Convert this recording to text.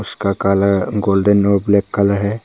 इसका colour golden और black colour है।